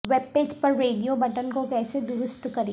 web page پر radio button کو کیسے درست کریں